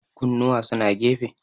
kunnuwa suna gefe